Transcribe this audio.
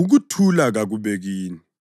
“Ukuthula kakube kini!”